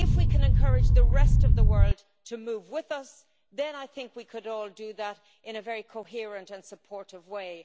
If we can encourage the rest of the world to move with us, then I think we could all do that in a very coherent and supportive way.